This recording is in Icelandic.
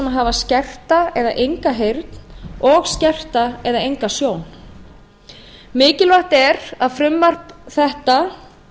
hafa skerta eða enga heyrn og skerta eða enga sjón mikilvægt er að frumvarp þetta